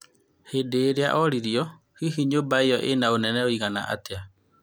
Hĩndĩ ĩrĩa oririo, hihi nyũmba ĩyo ĩna ũnene ũigana atĩa?